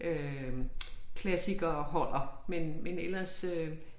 Øh klassikere holder men men ellers øh